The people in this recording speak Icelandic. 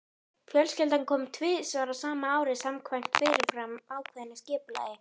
Fjölskyldan kom saman tvisvar á ári samkvæmt fyrirfram ákveðnu skipulagi.